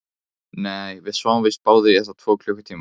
Nei, við sváfum víst báðir í þessa tvo klukkutíma